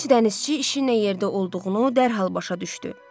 Gənc dənizçi işin yerdə olduğunu dərhal başa düşdü.